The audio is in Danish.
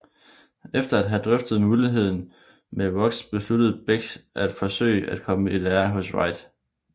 Efter at have drøftet muligheden med Roux besluttede Bech at forsøge at komme i lære hos White